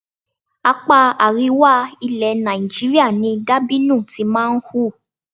Apá àríwá ilẹ̀ Nàìjíríà ni dàbínù ti máa ń hù.